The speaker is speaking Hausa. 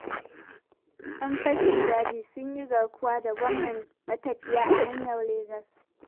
Yan fashin daji sun yi garkuwa da gomman matafiya a hanyar Legas.